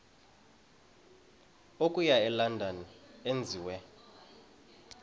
okuya elondon enziwe